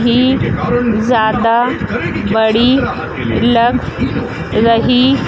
भीड़ ज्यादा बड़ी लग रही--